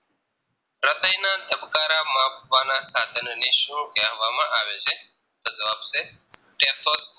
સાધનોની શું કહેવામાં આવે છે તો જવાબ છે Stethoscope